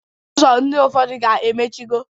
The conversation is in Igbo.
Ụzọ ndị ụfọdụ ga-emichigo.